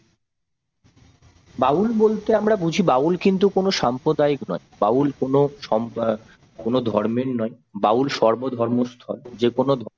বাউল বলতে আমরা বুঝি বাউল কিন্তু কোন সাম্প্রদায়িক নয় বাউল কোন সম্প অ্যাঁ ধর্মের নয় বাউল সর্ব ধর্মের এবং যেকোনো